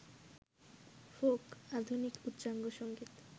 folk, আধুনিক, উচ্চাঙ্গসংগীত,